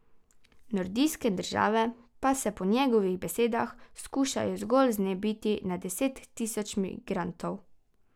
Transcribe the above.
Nordijske države pa se po njegovih besedah skušajo zgolj znebiti na deset tisoče migrantov.